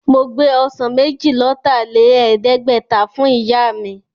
Mo gbé ọsàn méjì-lọ́tà-lẹ̀ẹ́dẹ́gbẹ̀ta fún Ìyá mi